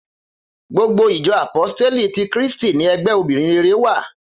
Gbogbo ìjọ àpóstélì tí Kírísítì ní ẹgbẹ́ obìrin rere wà